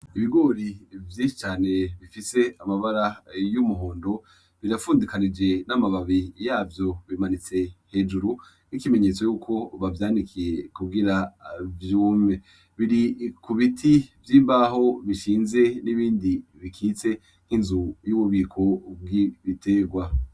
Ibigori vyecane bifise amabara y'umuhondo birapfundikanije n'amababi yavyo bimanitse hejuru n'ikimenyetso yuko bavyandikiye kubwira vyume biri ku biti vy'imbaho bishinze n'ibindi bikitse nk'inzu y'ububiko bw'ibiterwa.